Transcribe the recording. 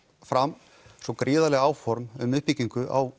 fram svo gríðarleg áform um uppbyggingu á